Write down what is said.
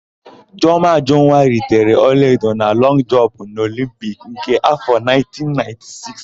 Chiọma Ajụnwa ritere ọlaedo na lọngụ jọmpụ n'Olimpiki nke áfọ̀ 1996.